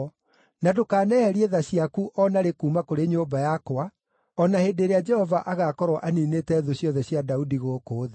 na ndũkaneherie tha ciaku o na rĩ kuuma kũrĩ nyũmba yakwa, o na hĩndĩ ĩrĩa Jehova agaakorwo aniinĩte thũ ciothe cia Daudi gũkũ thĩ.”